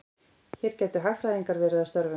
Hér gætu hagfræðingar verið að störfum.